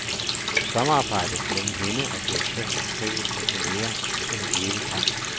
Samarbejdet mellem hende og direktøren beskrives af kolleger som en evig kamp.